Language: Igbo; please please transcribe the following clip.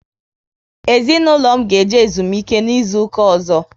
Ezinaụlọ m ga eje ezumike n' izuka ozo